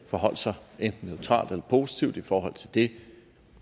forholdt sig enten neutralt eller positivt i forhold til det